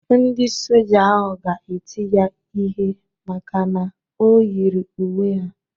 Ndị Soja ahụ ga-eti ya ihe maka na o yiri uwe ha.